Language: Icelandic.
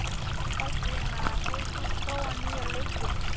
Baldvina, hefur þú prófað nýja leikinn?